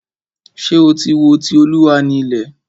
Ṣé o tí wo "Ti Olúwa ni ilẹ̀"?